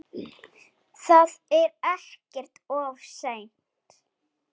Það er ekkert of seint.